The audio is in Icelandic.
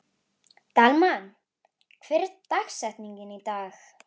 Dalmann, hver er dagsetningin í dag?